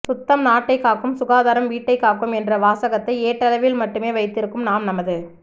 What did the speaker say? சுத்தம் நாட்டை காக்கும் சுகாதாரம் வீட்டைக் காக்கும் என்ற வாசகத்தை ஏட்டளவில் மட்டுமே வைத்திருக்கும் நாம் நமது